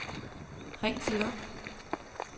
ring til log